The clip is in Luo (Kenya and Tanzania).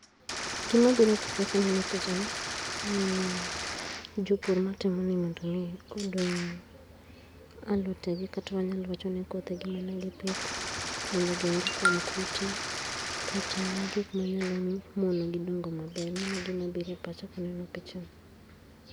Gima biro e pacha kaneno picha ni aneno jopur natimo ni kodoo alote gi kata wanyalo wacho ni kothegi manegipitho mondo ogeng gi kuom kute kata gik manyalo dongo maber mano e gima biro e pacha kaneno picha ni.